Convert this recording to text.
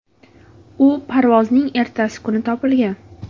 U parvozning ertasi kuni topilgan.